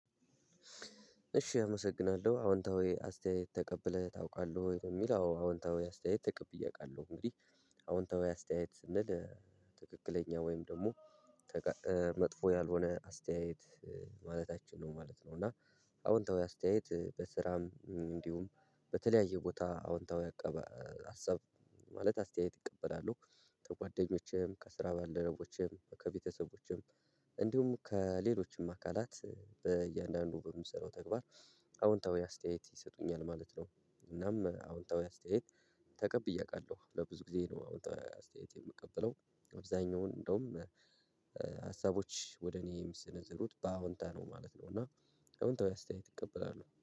እሺ አመሰግናለሁ አዎንታዊ አስተያየት ተቀብለህ ታውቃለህ ወይ ነው የሚል አዎንታዊ አስተያየት ተቀብዬ አውቃለሁ እንግዲህ አዎንታዊ አስተያየት ስንል ትክክለኛ ወይም ደግሞ መጥፎ ያልሆነ አስተያየት ማለታችን ነው ማለት ነው። እና አዎንታዊ አስተያየት በስራም እንዲሁም በተለያየ ቦታ አዎንታዊ አቀባ ሀሳብ ማለት አስተያየት እቀበላለሁ። ከጓደኞቼም ከስራ ባለደረቦችም ከቤተሰቦችም እንዲሁም ከሌሎችም አካላት በእያንዳንዱ በምሰራው ተግባር አዎንታዊ አስተያየት ይሰጡኛል ማለት ነው። እናም አዎንታዊ አስተያየት ተቀብዬ አውቃለሁ ለብዙ ጊዜ ነው አዋንታዊ አስተያየት የምቀበለው። አብዛኛውን እንደውም ሀሳቦች ወደ እኔ የሚሰነዘሩት በአዎንታ ነው ማለት ነው። እና አዎንታዊ አስተያየት እቀበላለሁ